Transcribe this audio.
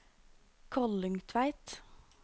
Kollungtveit